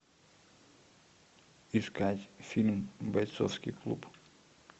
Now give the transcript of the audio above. искать фильм бойцовский клуб